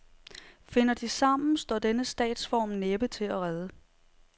Finder de sammen, står denne statsform næppe til at redde.